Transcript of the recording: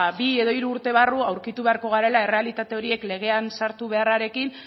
ba bi edo hiru urte barru aurkitu beharko garela errealitate horiek legean sartu beharrarekin